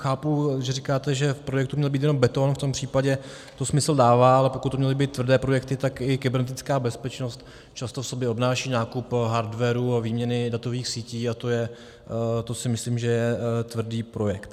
Chápu, že říkáte, že v projektu měl být jenom beton, v tom případě to smysl dává, ale pokud to měly být tvrdé projekty, tak i kybernetická bezpečnost často v sobě obnáší nákup hardwaru a výměny datových sítí a to si myslím, že je tvrdý projekt.